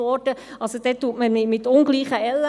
Man misst mit ungleichen Ellen: